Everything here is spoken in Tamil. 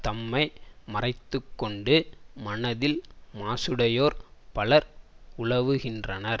தம்மை மறைத்துக்கொண்டு மனத்தில் மாசுடையோர் பலர் உலவுகின்றனர்